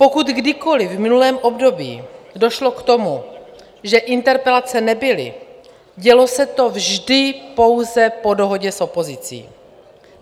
Pokud kdykoli v minulém období došlo k tomu, že interpelace nebyly, dělo se to vždy pouze po dohodě s opozicí.